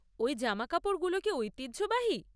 ওই জামাকাপড়গুলো কী ঐতিহ্যবাহী?